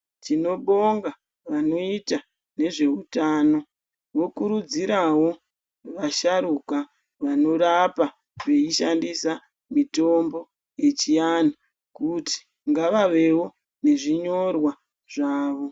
Tinobonga vanoita nezveutano vokurudzirawo vasharuka vanorapa veishandisa mitombo yechianhu, kuti ngavavewo nezvinyorwa zvavo.